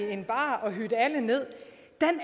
end bare at hive alle ned